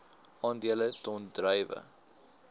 aandele ton druiwe